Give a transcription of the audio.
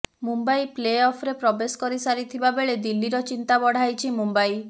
Mumbai play ଅଫରେ ପ୍ରବେଶ କରି ସାରିଥିବା ବେଳେ ଦିଲ୍ଲୀର ଚିନ୍ତା ବଢ଼ାଇଛି ମୁମ୍ବାଇ